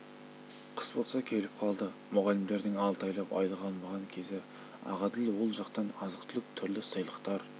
қыс болса келіп қалды мұғалімдердің алты айлап айлық алмаған кезі ақәділ ол жақтан азық-түлік түрлі сыйлықтар